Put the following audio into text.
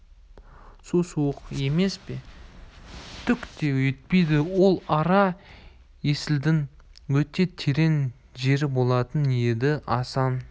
су суық емес пе түк те етпейді ол ара есілдің өте терең жері болатын еді асан